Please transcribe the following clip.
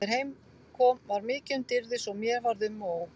Þegar heim kom var mikið um dýrðir svo mér varð um og ó.